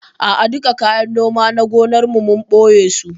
A'a duka kayan noma na gonan, mun ɓoye su